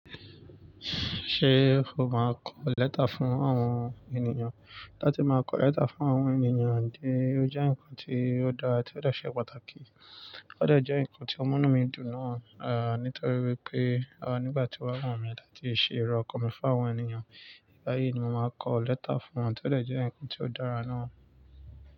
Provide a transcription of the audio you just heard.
Ṣé o máa kọ lẹ́tà fún àwọn ènìyàn? Láti máa kọ lẹ́tà fún àwọn ènìyàn dé, ó jẹ́ nǹkan tí ó dára tí ó dọ̀ṣẹ̀ pàtàkì, ó de je nǹkan tí omu nù mí dùn nàá, à, nítorí wípé, à, nígbà tí wọ́n wùn mí láti ṣe iro ọkan mi fún àwọn ènìyàn, báyìí ni mo máa kọ lẹ́tà fún wọn, tí eleyi deje ǹkan tí ó dára náà.